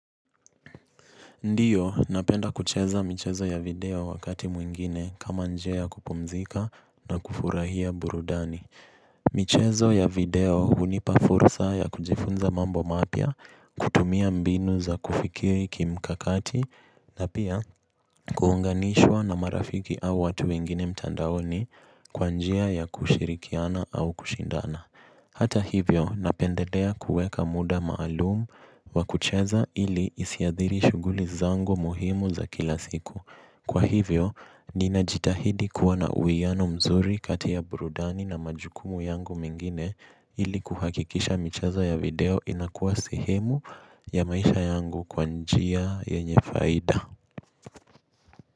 Ndiyo, napenda kucheza michezo ya video wakati mwingine kama njia kupumzika na kufurahia burudani. Michezo ya video hunipa fursa ya kujifunza mambo mapya kutumia mbinu za kufikiri kimkakati na pia kuunganishwa na marafiki au watu wengine mtandaoni kwa njia ya kushirikiana au kushindana. Hata hivyo, napendedea kueka muda maalumu wa kucheza ili isiadhiri shughuli zangu muhimu za kila siku. Kwa hivyo, ninajitahidi kuwa na uiano mzuri kati ya brudani na majukumu yangu mengine ili kuhakikisha micheza ya video inakuwa sehemu ya maisha yangu kwa njia yenye faida.